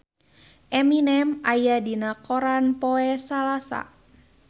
Eminem aya dina koran poe Salasa